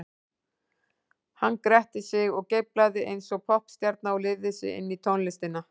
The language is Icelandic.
Hann gretti sig og geiflaði eins og poppstjarna og lifði sig inn í tónlistina.